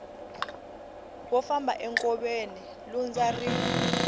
wo famba enkoveni lundza ri